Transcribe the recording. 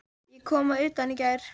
Ég kom að utan í gær.